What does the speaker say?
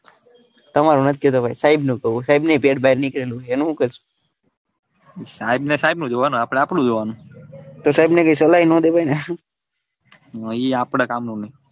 તામર નક્કી છે ભાઈ સાહેબ નું કૌ સાહેબ ની પેટ બાર નીકળેલું છે એનું હું કારસો સાહેબ ને સાહેબ નું જોવાનું આપડે આપડું જોવાનું તો સાહેબ ને કઈ સલાહ બ ના દેવાય ને ના એ આપડા કામ નુ નઈ.